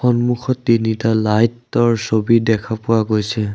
সন্মুখৰতে লাইটৰ ছবি দেখা পোৱা গৈছে।